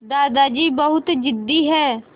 दादाजी बहुत ज़िद्दी हैं